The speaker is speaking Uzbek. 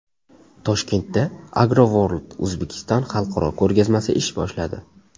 Toshkentda Agro World Uzbekistan xalqaro ko‘rgazmasi ish boshladi.